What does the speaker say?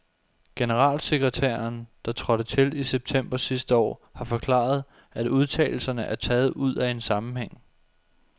Generalsekretæren, der trådte til i september sidste år, har forklaret, at udtalelserne er taget ud af en sammenhæng.